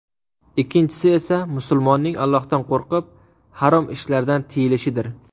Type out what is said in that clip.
Ikkinchisi esa musulmonning Allohdan qo‘rqib harom ishlardan tiyilishidir”.